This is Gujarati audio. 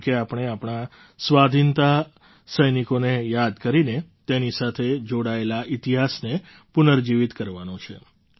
જેમ કે આપણે આપણા સ્વાધીનતા સૈનિકોને યાદ કરીને તેની સાથે જોડાયેલા ઇતિહાસને પુનર્જીવિત કરવાનો છે